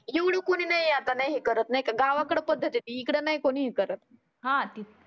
एवढ कोणी नाही आता नाही हे करत नाही का. गावाकडं पद्धत आहे इकड नाही कोणी हे करत